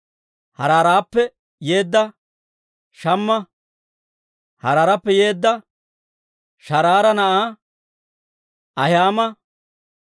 Haaraarappe yeedda Shamma, Haaraarappe yeedda Sharaara na'aa Ahi'aama,